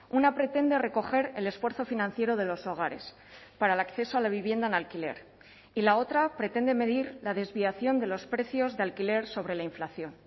una pretende recoger el esfuerzo financiero de los hogares para el acceso a la vivienda en alquiler y la otra pretende medir la desviación de los precios de alquiler sobre la inflación